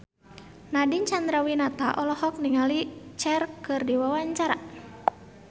Nadine Chandrawinata olohok ningali Cher keur diwawancara